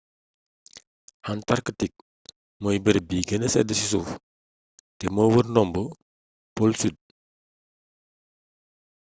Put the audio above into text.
antarktik mooy bërëb bi gëna sedd ci suuf te moo wër ndombo pole sud